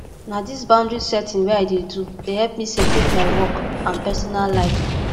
na dis boundary setting wey i dey do dey help me separate my work and personal life